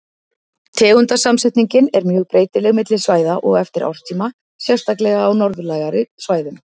Tegundasamsetningin er mjög breytileg milli svæða og eftir árstíma, sérstaklega á norðlægari svæðum.